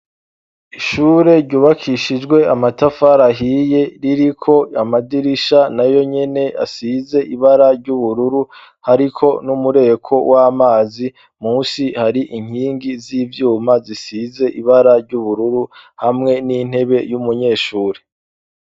Ishure ryubakishijwe amatafari ahiye ririko amadirisha nayonyene asize ibara ry' ubururu hariko n'umureko w'amazi. Musi hari inkingi z'ivyuma zisize ibara ry'ubururu hamwe n'intebe y'umunyeshuri.